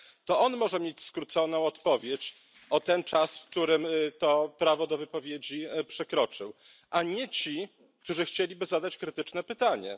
To on może mieć skróconą odpowiedź o ten czas, o który to prawo do wypowiedzi przekroczył, a nie ci, którzy chcieliby zadać krytyczne pytanie.